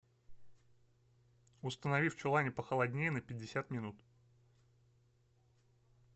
установи в чулане похолоднее на пятьдесят минут